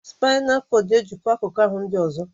Spaịnal kọdụ n'ejikọ akụkụ ahụ ndị ọzọ